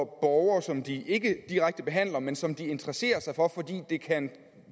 borgere som de ikke direkte behandler men som de interesserer sig for fordi de kan